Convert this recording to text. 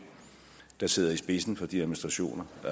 der sidder i spidsen for de administrationer